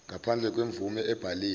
ngaphandle kwemvume ebhaliwe